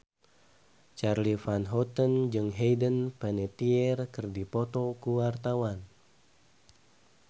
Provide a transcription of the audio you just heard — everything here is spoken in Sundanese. Charly Van Houten jeung Hayden Panettiere keur dipoto ku wartawan